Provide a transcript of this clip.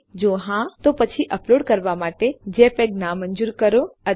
જો હા તો પછી અપલોડ કરવા માટે જેપીઇજી નામંજૂર કરો અથવા ચોક્કસ ફાઈલ સાઈઝ નામંજૂર કરો